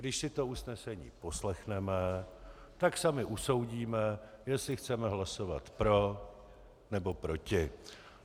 Když si to usnesení poslechneme, tak sami usoudíme, jestli chceme hlasovat pro, nebo proti.